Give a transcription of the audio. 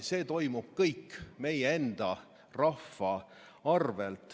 See toimub kõik meie enda rahva arvel.